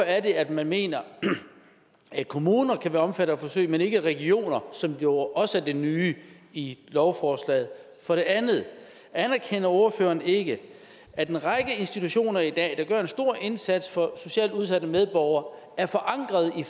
er at man mener at kommuner kan være omfattet af forsøg men ikke regioner som jo også er det nye i lovforslaget for det andet anerkender ordføreren ikke at en række institutioner der i dag gør en stor indsats for socialt udsatte medborgere er forankret i